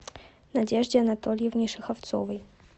надежде анатольевне шеховцовой